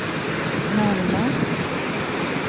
närmast